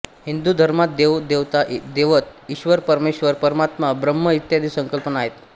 हिंदू धर्मात देव देवता दैवत ईश्वर परमेश्वर परमात्मा ब्रह्म इत्यादी संकल्पना आहेत